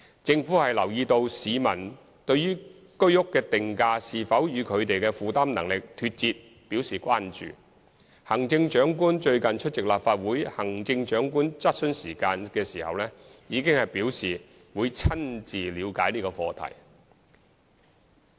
政府留意到市民對於居屋的定價是否與他們的負擔能力脫節表示關注，行政長官最近出席立法會行政長官質詢時間時已表示會親自了解這課題。